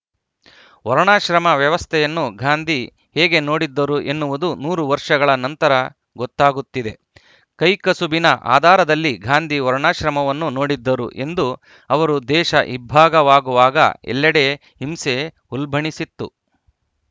ವರ್ಣಾಶ್ರಮ ವ್ಯವಸ್ಥೆಯನ್ನು ಗಾಂಧಿ ಹೇಗೆ ನೋಡಿದ್ದರು ಎನ್ನುವುದು ನೂರು ವರ್ಷಗಳ ನಂತರ ಗೊತ್ತಾಗುತ್ತಿದೆ ಕೈಕಸುಬಿನ ಆಧಾರದಲ್ಲಿ ಗಾಂಧಿ ವರ್ಣಾಶ್ರಮವನ್ನು ನೋಡಿದ್ದರು ಎಂದ ಅವರು ದೇಶ ಇಬ್ಭಾಗವಾಗುವಾಗ ಎಲ್ಲಡೆ ಹಿಂಸೆ ಉಲ್ಬಣಿಸಿತ್ತು